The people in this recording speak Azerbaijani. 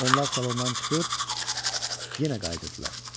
Onlar salondan çıxır, yenə qayıdırdılar.